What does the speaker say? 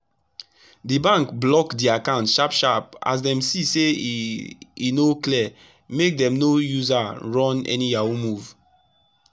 d bank block d account sharp sharp as dem see say e e no clear make dem no use aa run any yahoo move